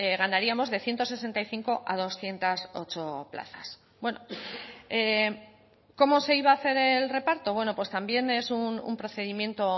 ganaríamos de ciento sesenta y cinco a doscientos ocho plazas bueno cómo se iba a hacer el reparto bueno pues también es un procedimiento